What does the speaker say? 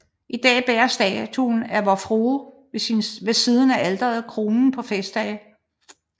I dag bærer statuen af Vor Frue ved siden af alteret kronen på festdage